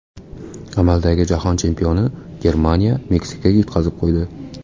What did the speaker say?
Amaldagi Jahon chempioni Germaniya Meksikaga yutqazib qo‘ydi .